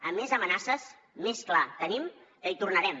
a més amenaces més clar tenim que hi tornarem